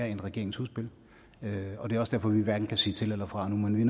i regeringens udspil og det er også derfor vi hverken kan sige til eller fra nu men vi